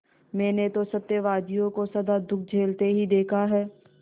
मैंने तो सत्यवादियों को सदा दुःख झेलते ही देखा है